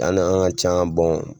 Yan na an ka can